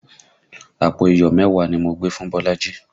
Àpò iyọ̀ mẹ́wàá ni mo gbé fún Bolaji